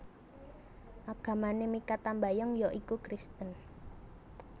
Agamané Mikha Tambayong ya iku Kristen